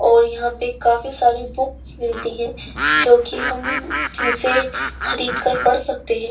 और यहां पे काफी सारी बुक मिलती हैं जोकि हम जिनसे खरीदकर पढ़ सकते हैं।